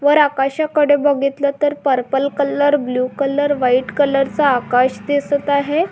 वर आकाशाकडे बघितल तर purple colour blue colour white colour चा आकाश दिसत आहे.